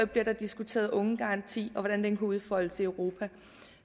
bliver der diskuteret ungegaranti og hvordan den kan udfoldes i europa